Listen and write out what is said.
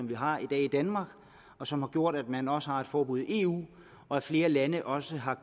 vi har i dag i danmark og som har gjort at man også har et forbud i eu og at flere lande også har